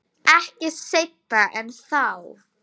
Ekki seinna en þá.